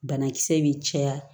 Banakisɛ bɛ caya